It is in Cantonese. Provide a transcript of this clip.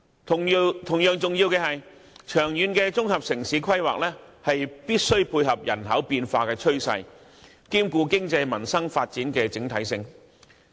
同樣重要的是，長遠的綜合城市規劃必須配合人口變化的趨勢，兼顧經濟、民生發展的整體性。